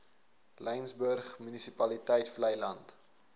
laingsburg munisipaliteit vleiland